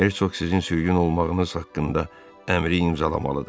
Hersoq sizin sürgün olmağınız haqqında əmri imzalamalıdır.